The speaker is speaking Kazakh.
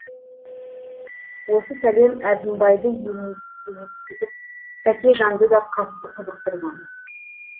осы сәлем әзімбайды емексітіп тәкежанды да қатты қызықтырған